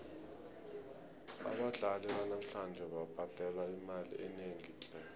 abadlali banamhlanje babhadelwa imali enengi tle